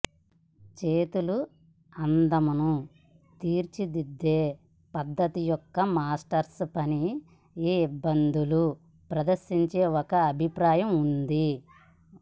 చేతుల అందమును తీర్చిదిద్దే పద్ధతి యొక్క మాస్టర్స్ పని ఏ ఇబ్బందులు ప్రదర్శించే ఒక అభిప్రాయం ఉంది